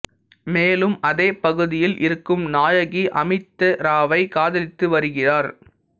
மேலும் அதே பகுதியில் இருக்கும் நாயகி அமிதா ராவை காதலித்து வருகிறார்